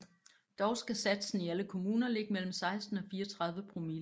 Dog skal satsen i alle kommuner ligge mellem 16 og 34 promille